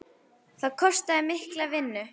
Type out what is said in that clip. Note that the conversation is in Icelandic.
Það kostaði mikla vinnu.